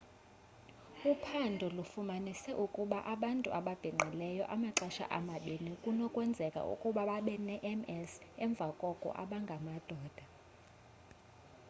uphando lufumanise ukuba abantu ababhinqileyo amaxesha amabini kunokwenzeka ukuba babe ne-ms emva koko abangamadoda